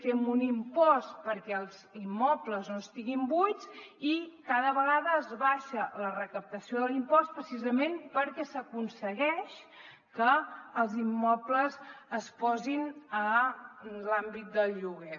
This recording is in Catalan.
fem un impost perquè els immobles no estiguin buits i cada vegada es baixa la recaptació de l’impost precisament perquè s’aconsegueix que els immobles es posin a l’àmbit del lloguer